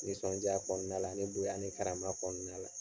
Nisɔndiya kɔnɔna la, ani bonya ni karama kɔnɔna la.